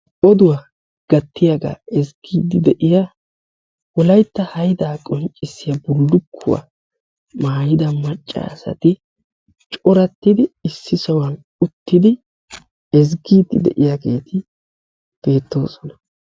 Oduwa gattiyagaa ezggiiddi de'iya wolaytta haydaa qonccissiya wolaytta haydaa qonccissiya bullukkuwa maayida macca asati corattidi issi sohuwan uttidi ezggiiddi diyageeti beettoosona.